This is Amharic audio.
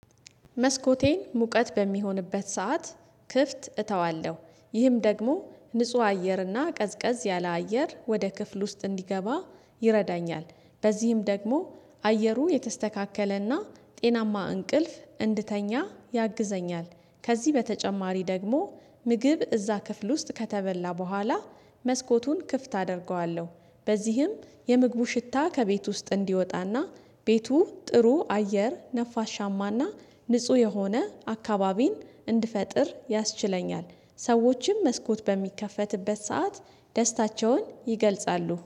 መስኮቴን ሙቀት በሚሆንበት ሰዓት ክፍት እተዋለሁ ይህም ደግሞ ንጹህ አየርና ቀዝቀዝ ያለ አየር ወደ ክፍል ውስጥ እንዲገባ ይረዳኛል። በዚህም ደግሞ አየሩ የተስተካከለና ጤናማ እንቅልፍ እንድተኛ ያግዘኛል። ከዚህ በተጨማሪ ደግሞ ምግብ እዛ ክፍል ውስጥ ከተበላ በኋላ መስኮቱን ክፍት አደርገዋለሁ። በዚህም የምግቡ ሽታ ከቤት ውስጥ እንዲወጣና ቤቱ ጥሩ አየር ነፋሻማና ንጹህ የሆነ አካባቢን እንድፈጥር ያስችለኛል። ሰዎችም መስኮት በሚከፈትበት ሰዓት ደስታቸውን ይገልጻሉ።